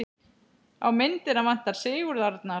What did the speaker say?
Á myndina vantar Sigurð Arnar.